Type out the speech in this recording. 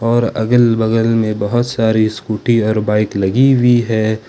और अगल बगल में बहुत सारी स्कूटी और बाइक लगी हुई है।